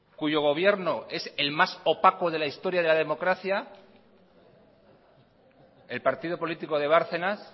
cuyo gobierno es el más opaco de la historia de la democracia el partido político de bárcenas